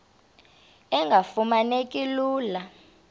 engafuma neki lula